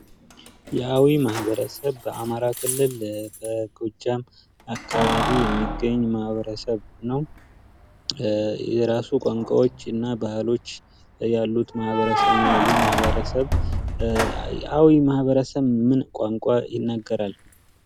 የአዊ ማህበረሰብ በአማራ ክልል በጎጃም አካባቢ የሚገኝ ማኀበረሰብ ነው። የራሱ ቋንቋዎችና ባህሎች ያሉት ማህበረሰብ ነው ይህ ማህበረሰብ ምን ቋንቋ ይናገራል?